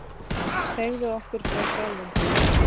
Segðu okkur frá sjálfum þér.